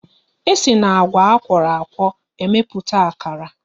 E si n'agwa akworo akwo emepụta akara